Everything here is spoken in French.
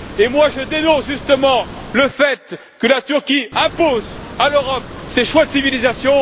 Moi, je dénonce justement le fait que la Turquie impose à l'Europe ses choix de civilisation.